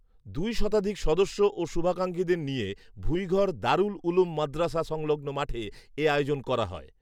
দুই শতাধিক সদস্য ও শুভাকাঙ্ক্ষীদের নিয়ে, ভুইঁঘর দারুল উলুম মাদ্রাসা সংলগ্ন মাঠে এ আয়োজন করা হয়